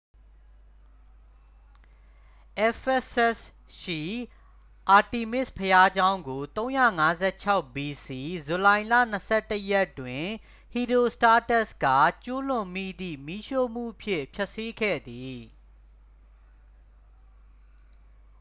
ephesus ရှိ artemis ဘုရားကျောင်းကို 356 bc ဇူလိုင်လ 21 ရက်တွင် ဟီရီုစတားတက်စ် က ကျူးလွန်မိသည့် မီးရှို့မှုဖြင့် ဖျက်ဆီးခဲ့သည်